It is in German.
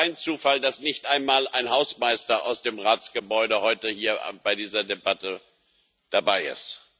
Es ist kein Zufall, dass nicht einmal ein Hausmeister aus dem Ratsgebäude heute hier bei dieser Debatte dabei ist.